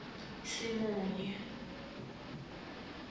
simunye